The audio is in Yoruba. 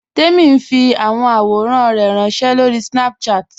Tẹ̀mi n fi awọn awòrán rẹ ránṣẹ̀ lórí Snapchat.